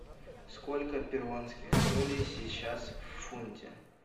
сколько перуанских солей сейчас в фунте